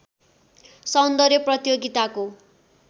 सौन्दर्य प्रतियोगिताको